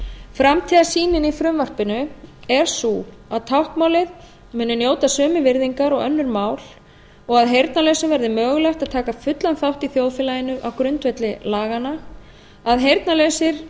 framtíðarsýnin í frumvarpinu er sú að táknmálið muni njóta sömu virðingar og önnur mál og að heyrnarlausum verði mögulegt að taka fullan þátt í þjóðfélaginu á grundvelli laganna að heyrnarlausir